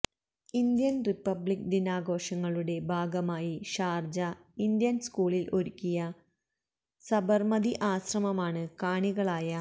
Indian republic ദിനാഘോഷങ്ങളുടെ ഭാഗമായി Sharjah Indian സ്കൂളില് ഒരുക്കിയ സബര്മതി ആശ്രമമാണ് കാണികളായ